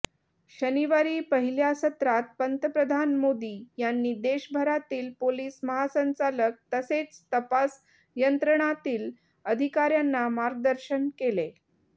शनिवारी पहिल्या सत्रात पंतप्रधान मोदी यांनी देशभरातील पोलीस महासंचालक तसेच तपास यंत्रणातील अधिकाऱ्यांना मार्गदर्शन केले